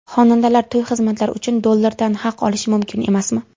Xonandalar to‘y xizmatlari uchun dollarda haq olishi mumkin emasmi?